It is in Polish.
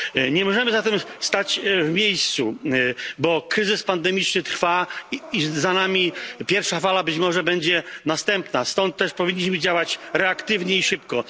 Nie możemy zatem stać w miejscu, bo kryzys pandemiczny trwa i za nami pierwsza fala, być może będzie następna, stąd też powinniśmy działać reaktywnie i szybko.